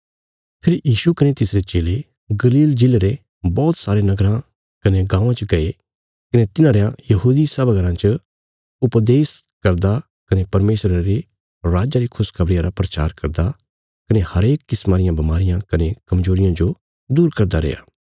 फेरी यीशु कने तिसरे चेले गलील प्रदेशा रे बौहत सारे नगराँ कने गाँवां च गये कने तिन्हां रयां यहूदी सभा घराँ च उपदेश करदा कने परमेशरा रे राज्जा री खुशखबरिया रा प्रचार करदा कने हरेक किस्मा रियां बमारियां कने कमजोरियां जो दूर करदा रैया